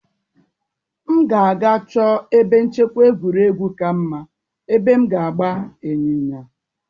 M ga-aga chọọ ebe nchekwa egwuregwu ka mma, ebe m ga-agba ịnyịnya.